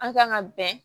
An kan ka bɛn